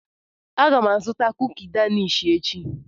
Aga m azụta kuki Danish echi.